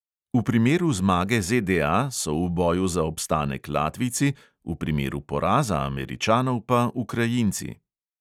V primeru zmage ZDA so v boju za obstanek latvijci, v primeru poraza američanov pa ukrajinci.